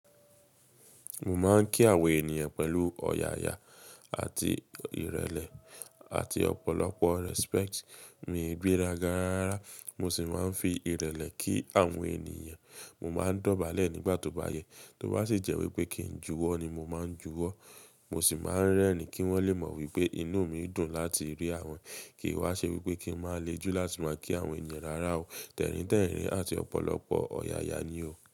Mo máa ń kí àwọn ènìyàn pẹ̀lú ọ̀yàyà àti ìrẹ̀lẹ̀ àti ọ̀pọ̀lọpọ̀ respect. Mi e gbéraga rárárá, mo sì máa ń fi ìrẹ̀lẹ̀ kí àwọn ènìyàn. Mo máa ń dọ̀bálẹ̀ nígbà tó bá yẹ, tó bá sì jẹ́ wípé kí n juwọ́ ni mo máa ń juwọ́. Mo sì máa ń rẹ́rin kí wọ́n lè mọ̀ wípé inú mi dùn láti rí wọn. Kì í wa ṣe wípé kí n máa le ju láti máa kí àwọn ènìyàn rárá o. Tẹ̀ríntẹ̀rín àti ọ̀pọ̀lọpọ̀ ọ̀yàyà ni o.